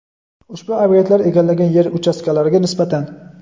ushbu ob’ektlar egallagan yer uchastkalariga nisbatan.